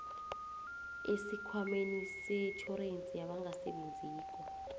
esikhwameni setjhorensi yabangasebenziko